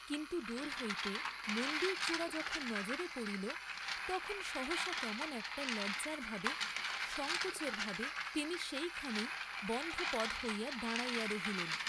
কিন্তু দূর হইতে মন্দিরচুড়া যখন নজরে পড়িল তখন সহসা কেমন একটা লজ্জার ভাবে, সঙ্কোচের ভাবে, তিনি সেইখানেই বন্ধপদ হইয়া দাঁড়াইয়া রহিলেন।